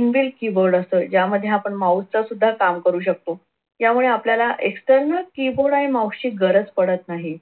inbuild keyboard असतो यामध्ये आपण mouse च सुद्धा काम करू शकतो. त्यामुळे आपल्याला external कीबोर्ड आणि माउस ची गरज पडत नाही.